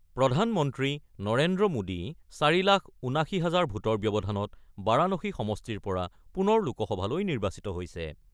প্ৰধানমন্ত্ৰী নৰেন্দ্ৰ মোদী ৪ লাখ ৭৯ হাজাৰ ভোটৰ ব্যৱধানত বাৰাণসী সমষ্টিৰ পৰা পুনৰ লোকসভালৈ নিৰ্বাচিত হৈছে।